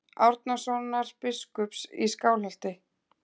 Árnasonar biskups í Skálholti.